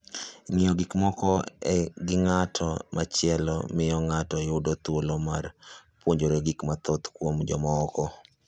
Ng'iyo gik moko gi ng'at machielo miyo ng'ato yudo thuolo mar puonjore gik mathoth kuom jomoko.